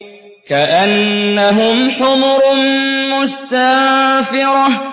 كَأَنَّهُمْ حُمُرٌ مُّسْتَنفِرَةٌ